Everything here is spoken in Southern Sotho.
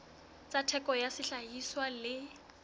tsa theko ya sehlahiswa le